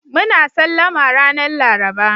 Muna Sallama ranan Laraba.